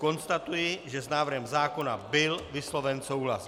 Konstatuji, že s návrhem zákona byl vysloven souhlas.